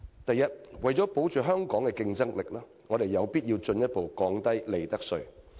第一，為了保持香港的競爭力，我們有必要進一步降低利得稅。